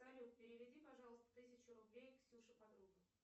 салют переведи пожалуйста тысячу рублей ксюше подруга